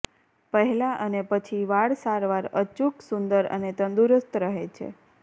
પહેલા અને પછી વાળ સારવાર અચૂક સુંદર અને તંદુરસ્ત રહે છે